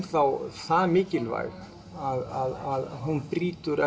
þá það mikilvæg að hún brýtur